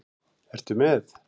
Ertu með?